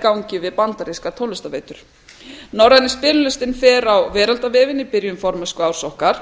gangi við bandarískar tónlistarveitur norræni spilalistinn fer á veraldarvefinn í byrjun formennsku árs okkar